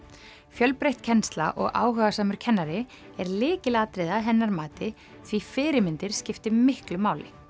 fjölbreytt kennsla og áhugasamur kennari er lykilatriði að hennar mati því fyrirmyndir skipti miklu máli